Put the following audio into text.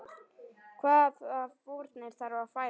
Hvaða fórnir þarf að færa?